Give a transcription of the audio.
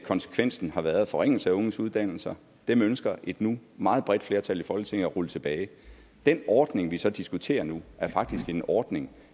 konsekvensen har været forringelse af unges uddannelser dem ønsker et nu meget bredt flertal i folketinget at rulle tilbage den ordning vi så diskuterer nu er faktisk en ordning